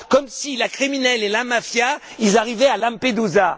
Comme si les criminels et la mafia arrivaient à Lampedusa!